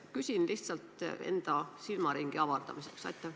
Küsin lihtsalt enda silmaringi avardamiseks.